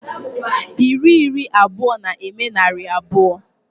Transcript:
Iri iri abụọ na-eme narị abụọ.